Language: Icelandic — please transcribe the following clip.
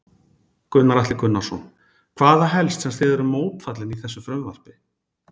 Gunnar Atli Gunnarsson: Hvað er það helst sem þið eruð mótfallin í þessu frumvarpi?